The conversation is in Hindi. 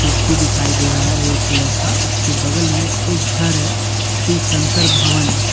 कुर्सी दिखाई दे रहा है रेड कलर का उसके बगल में एक घर है शिव शंकर भवन।